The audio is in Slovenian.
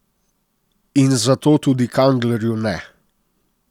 In zato tudi Kanglerju ne.